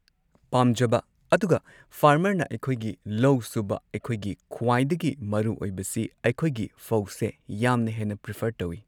ꯄꯥꯝꯖꯕ ꯑꯗꯨꯒ ꯐꯥꯔꯃꯔꯅ ꯑꯩꯈꯣꯏꯒꯤ ꯂꯧ ꯁꯨꯕ ꯑꯩꯈꯣꯏꯒꯤ ꯈ꯭ꯋꯥꯏꯗꯒꯤ ꯃꯔꯨ ꯑꯣꯏꯕꯁꯤ ꯑꯩꯈꯣꯏꯒꯤ ꯐꯧꯁꯦ ꯌꯥꯝꯅ ꯍꯦꯟꯅ ꯄ꯭ꯔꯤꯐꯔ ꯇꯧꯢ꯫